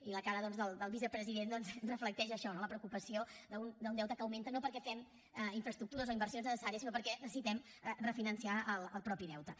i la cara del vicepresident doncs reflecteix això no la preocupació d’un deute que augmenta no perquè fem infraestructures o inversions necessàries sinó perquè necessitem refinançar el mateix deute